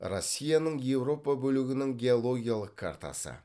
россияның еуропа бөлігінің геологиялық картасы